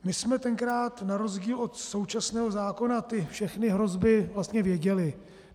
My jsme tenkrát na rozdíl od současného zákona ty všechny hrozby vlastně věděli.